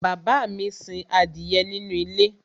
bàbá mi sin adìyẹ nínú ilé